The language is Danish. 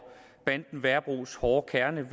banden værebros hårde kerne